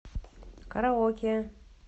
караоке